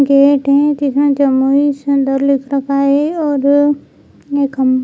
gate है जिसमे Jamui centre लिख रखा है और ये खम --